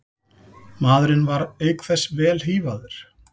Maðurinn var auk þess vel hífaður